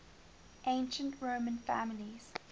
ancient roman families